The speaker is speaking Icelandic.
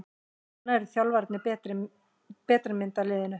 Núna hafa þjálfararnir betri mynd af liðinu.